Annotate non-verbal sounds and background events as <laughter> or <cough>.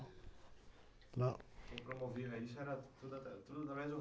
Não? quem promovia isso era tudo, <unintelligible> tudo através do